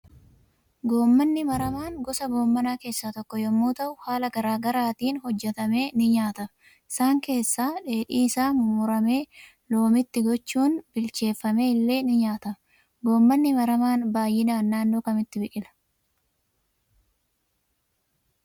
Goommanni maramaan gosa goommanaa keessa tokko yommuu ta'uu haala garaa garaatiin hojjetamee nii nyaatama isaan kessaa dheedhi isa mummuramee loomiitgi gochuun, bilcheeffamee ille ni nyaatama goommanni maramaan baay'inaan naannoo Kamitti biqila?